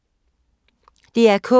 DR K